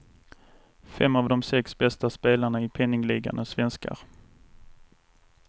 Fem av de sex bästa spelarna i penningligan är svenskar.